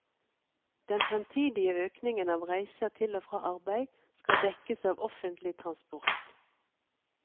Den fremtidige økningen av reiser til og fra arbeid skal dekkes av offentlig transport.